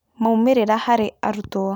Moimĩrĩra harĩ arũtwo.